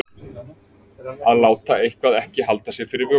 Að láta eitthvað ekki halda fyrir sér vöku